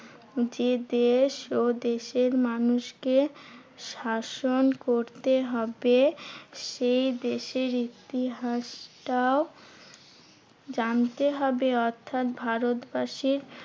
যে দেশ ও দেশের মানুষকে স্বাসন করতে হবে সেই দেশের ইতিহাসটাও জানতে হবে। অর্থাৎ ভারতবাসীর